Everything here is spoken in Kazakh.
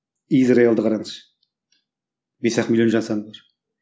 израильді қараңыз бес ақ миллион жан саны бар